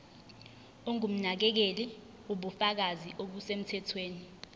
ongumnakekeli ubufakazi obusemthethweni